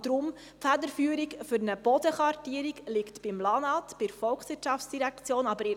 Deshalb liegt die Federführung für eine Bodenkartierung beim Amt für Landwirtschaft und Natur (LANAT), bei der VOL;